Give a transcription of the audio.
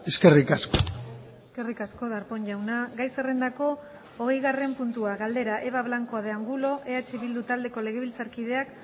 eskerrik asko eskerrik asko darpón jauna gai zerrendako hogeigarren puntua galdera eva blanco de angulo eh bildu taldeko legebiltzarkideak